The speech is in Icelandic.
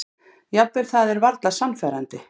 Jafnvel það er varla sannfærandi.